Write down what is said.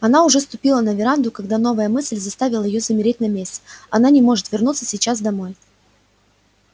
она уже ступила на веранду когда новая мысль заставила её замереть на месте она не может вернуться сейчас домой